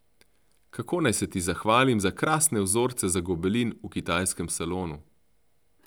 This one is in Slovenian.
Kako naj se ti zahvalim za krasne vzorce za gobelin v kitajskem salonu?